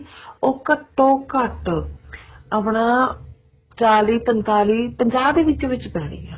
ਉਹ ਘੱਟੋ ਘੱਟ ਆਪਣਾ ਚਾਲੀ ਪੰਤਾਲੀ ਪੰਜਾਹ ਦੇ ਵਿੱਚ ਵਿੱਚ ਪੈਣੀ ਆ